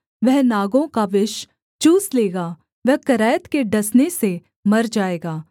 वह नागों का विष चूस लेगा वह करैत के डसने से मर जाएगा